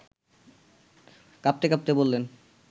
কাঁপতে কাঁপতে বললেন